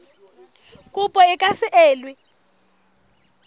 kopo e ka se elwe